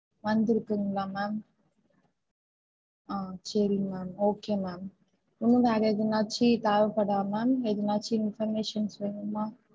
வந்துருக்குங்களா ma'am? ஆஹ் சரி ma'am okay ma'am இன்னும் வேற எதுனாச்சு தேவை படுதா ma'am எதுனாச்சு information வேணுமா?